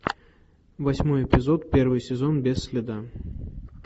восьмой эпизод первый сезон без следа